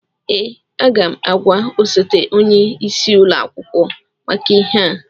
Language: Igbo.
Ee, aga m agwa osote onye isi ụlọ akwụkwọ maka ihe a